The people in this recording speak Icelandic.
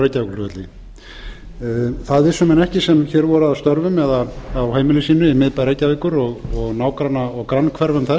á reykjavíkurflugvelli það vissu menn ekki sem hér voru að störfum eða á heimilum sínum í miðbæ reykjavíkur og nágranna og grannhverfum þess